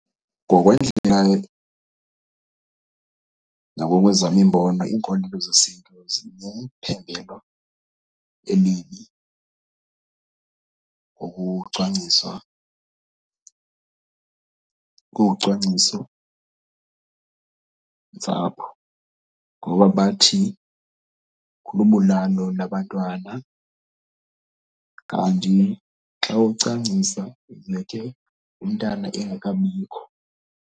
Ngokwendlela nangokwezam iimbono iinkolelo zesiNtu zinephembelo ngokucwangciswa, kucwangcisontsapho ngoba bathi lubulalo labantwana. Kanti xa ucwangcisa umntana engekabikho.